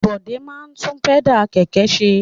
Bọ̀dé máa ń tún pẹ́dà kẹ̀kẹ́ ṣe.